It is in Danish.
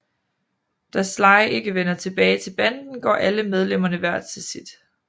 Da Sly ikke vender tilbage til banden går alle medlemmerne hvert til sit